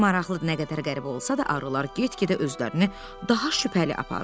Maraqlıdır, nə qədər qəribə olsa da, arılar get-gedə özlərini daha şübhəli aparır.